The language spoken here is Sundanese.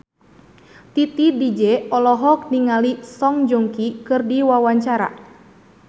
Titi DJ olohok ningali Song Joong Ki keur diwawancara